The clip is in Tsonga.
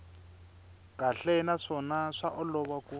kahle naswona swa olova ku